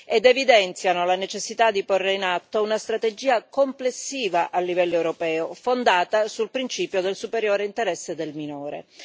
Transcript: ed evidenziano la necessità di porre in atto una strategia complessiva a livello europeo, fondata sul principio del superiore interesse del minore.